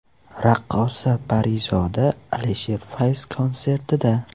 Raqqosa Parizoda Alisher Fayz konsertida.